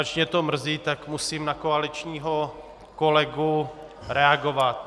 Ač mě to mrzí, tak musím na koaličního kolegu reagovat.